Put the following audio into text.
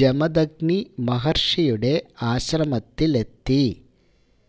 ജമദഗ്നി മഹര്ഷിയുടെ ആശ്രമത്തിലെത്തി